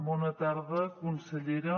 bona tarda consellera